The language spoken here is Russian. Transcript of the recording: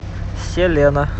селена